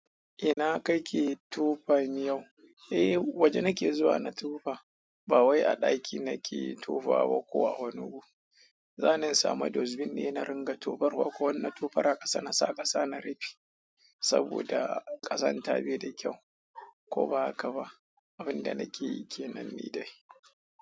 Ina kake tofa miyau? Eh, waje nake zuwa na tofa. Ba wai a ɗaki nake tofawa ko a wani wuri. Zani in samu dust bin ne na ringa tofarwa ko na tufar a ƙasa na sa ƙasa na rufe saboda ƙazanta bai da kyau. Ko ba haka ba, abun da nake yi kenan ni dai.